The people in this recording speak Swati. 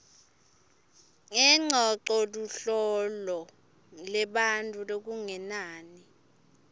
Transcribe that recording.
lengcocoluhlolo lebantfu lokungenani